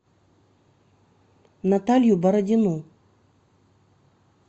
наталью бородину